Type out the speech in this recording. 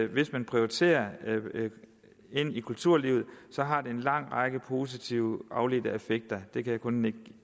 hvis man prioriterer kulturlivet har det en lang række positive afledte effekter det kan jeg kun nikke